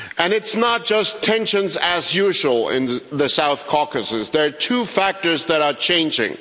It's not just tensions as usual in the South Caucasus. There are two factors that are changing.